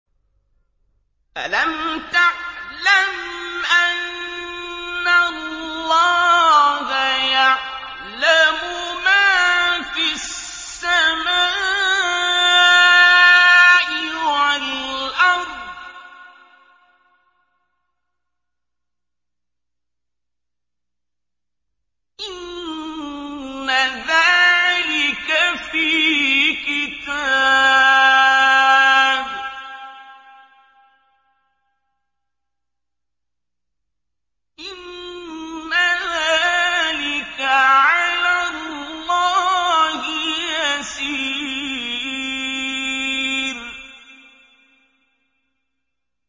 أَلَمْ تَعْلَمْ أَنَّ اللَّهَ يَعْلَمُ مَا فِي السَّمَاءِ وَالْأَرْضِ ۗ إِنَّ ذَٰلِكَ فِي كِتَابٍ ۚ إِنَّ ذَٰلِكَ عَلَى اللَّهِ يَسِيرٌ